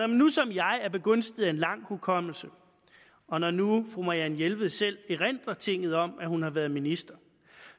nu som jeg er begunstiget af en lang hukommelse og når nu fru marianne jelved selv erindrer tinget om at hun har været minister